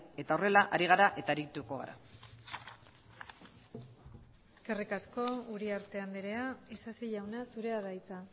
eta horrela ari gara eta arituko gara eskerrik asko uriarte andrea isasi jauna zurea da hitza